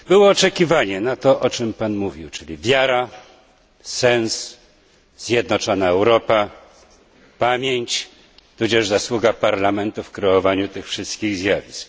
Oczekiwaliśmy tego, o czym Pan mówił, czyli wiary, sensu, zjednoczonej Europy, pamięć, tudzież zasługa Parlamentu w kreowaniu tych wszystkich zjawisk.